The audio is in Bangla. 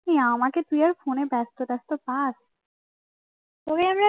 ওই আমাকে তুই আর বেস্ত টেস্ট পাস্ ফোনে